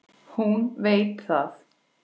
Hún veit það.